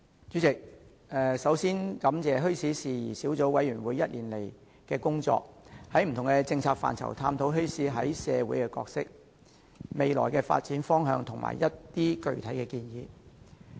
主席，首先，我感謝墟市事宜小組委員會過去1年的工作，在不同政策範疇探討墟市在社會擔當的角色、未來發展方向和一些具體建議。